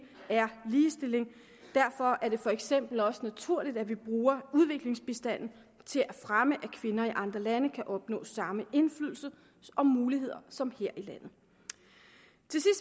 er ligestilling derfor er det for eksempel også naturligt at vi bruger udviklingsbistanden til at fremme at kvinder i andre lande kan opnås samme indflydelse og mulighed som her i landet